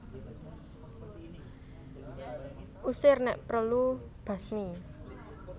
Usir Nek prelu basmi